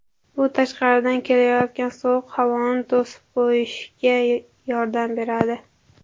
Bu tashqaridan kelayotgan sovuq havoni to‘sib qolishga yordam beradi.